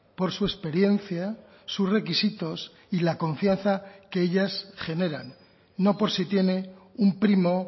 por su experiencia sus requisitos y la confianza que ellas generan no por si tiene un primo